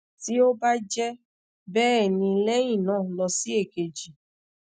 ti o ba jẹ bẹẹni lẹhinna lọ si ekeji